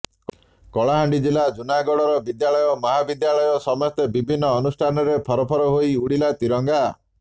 କଳାହାଣ୍ଡି ଜିଲ୍ଲା ଜୁନାଗଡର ବିଦ୍ୟାଳୟ ମହାବିଦ୍ୟାଳୟ ସମେତ ବିଭିନ୍ନ ଅନୁଷ୍ଠାନରେ ଫରଫର ହୋଇ ଉଡିଲା ତ୍ରୀରଙ୍ଗା